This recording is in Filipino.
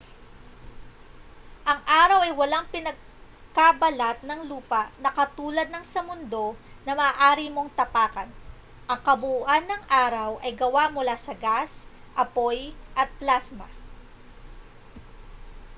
ang araw ay walang pinakabalat ng lupa na katulad ng sa mundo na maaari mong tapakan ang kabuuan ng araw ay gawa mula sa mga gas apoy at plasma